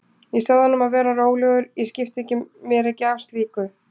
Ég sagði honum að vera rólegur, ég skipti mér ekki af slíku.